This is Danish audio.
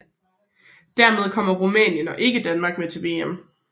Dermed kommer Rumænien og ikke Danmark med til VM